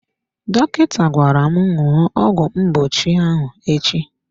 Dọkịta gwara m ṅụọ ọgwụ mgbochi ahụ echi.